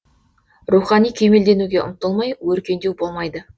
рухани кемелденуге ұмтылмай өркендеу болмайды